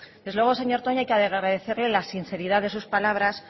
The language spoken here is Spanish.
desde luego señor toña hay que agradecerle la sinceridad de sus palabras